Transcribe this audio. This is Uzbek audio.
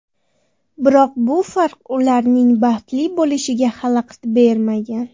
Biroq bu farq ularning baxtli bo‘lishiga xalaqit bermagan.